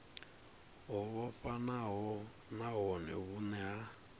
ho vhofhanaho nahone vhune ha